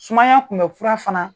Sumaya kunbɛ fura fana.